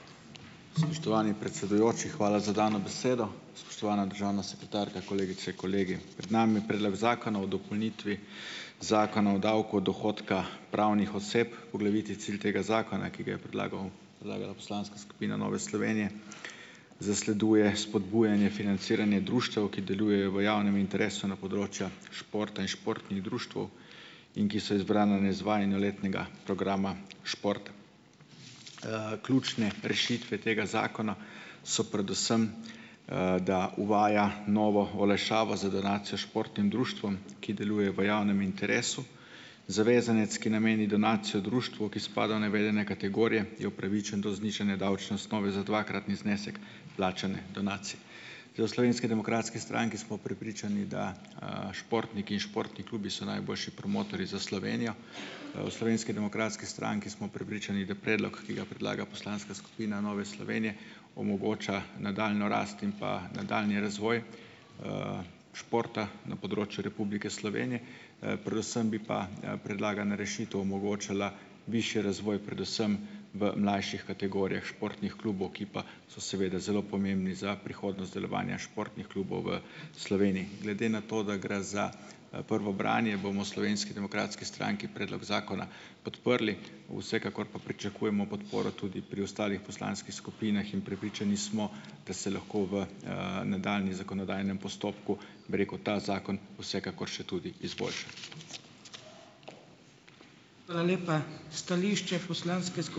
Spoštovani predsedujoči, hvala za dano besedo. Spoštovana državna sekretarka, kolegice, kolegi! Pred nami je Predlog zakona o dopolnitvi Zakona o davku od dohodka pravnih oseb. Poglavitni cilj tega zakona, ki ga je predlagal predlagala poslanska skupina Nove Slovenije, zasleduje spodbujanje financiranje društev, ki delujejo v javnem interesu na področju športa in športnih društev in ki so izbrana na izvajanju letnega programa športa. Ključne rešitve tega zakona so predvsem, da uvaja novo olajšavo za donacijo športnim društvom, ki delujejo v javnem interesu. Zavezanec, ki nameni donacijo društvu, ki spada v navedene kategorije, je upravičen do znižanja davčne osnove za dvakratni znesek plačane donacije. Da, v Slovenski demokratski stranki smo prepričani, da, športniki in športni klubi so najboljši promotorji za Slovenijo. V Slovenski demokratski stranki smo prepričani, da predlog, ki ga predlaga poslanska skupina Nove Slovenije omogoča nadaljnjo rast in nadaljnji razvoj, športa na področju Republike Slovenije. Predvsem pa bi predlagana rešitev omogočala višji razvoj predvsem v mlajših kategorijah športnih klubov, ki pa so seveda zelo pomembni za prihodnost delovanja športnih klubov v Sloveniji. Glede na to, da gre za prvo branje bomo v Slovenski demokratski stranki predlog zakona podprli. Vsekakor pa pričakujemo podporo tudi pri ostalih poslanskih skupinah. In prepričani smo, da se lahko v, nadaljnjem zakonodajnem postopku, bi rekel, ta zakon vsekakor še tudi izboljša.